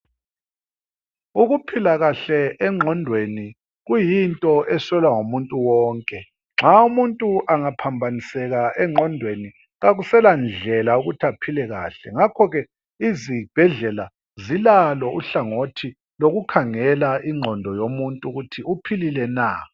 Ukuphila kahle engqondweni kuyinto eswelwa ngumuntu onke. Nxa umuntu angaphambaniseka engqondweni, kakusela ndlela yokuthi aphile kahle ngakho ke izibhedlela zilalo uhlangothi lokukhangela ingqondo yomuntu ukuthi uphilile na.